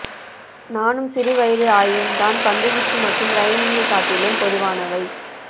நானும் சிறுவயது ஆய்வும் தான் பந்துவீச்சு மற்றும் ரைமிங்கைக் காட்டிலும் பொதுவானவை